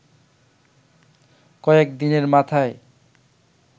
কয়েক দিনের মাথায়